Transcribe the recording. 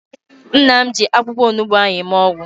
Nna m ji akwụkwọ onugbu ahụ eme ọgwụ